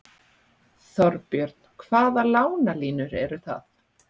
Þorbjörn: Hvaða lánalínur eru það?